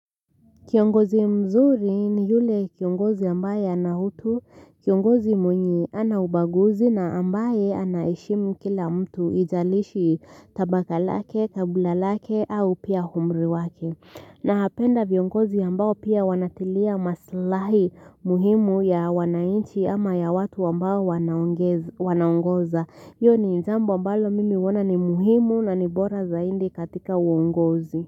Kiongozi mzuri ni yule kiongozi ambaye ana utu, kiongozi mwenye hana ubaguzi na ambaye anaheshimu kila mtu haijalishi tabaka lake, kabila lake, au pia umri wake. Napenda viongozi ambao pia wanatilia maslahi muhimu ya wananchi ama ya watu ambao wanaongoza. Hio ni jambo ambalo mimi huona ni muhimu na ni bora zaidi katika uongozi.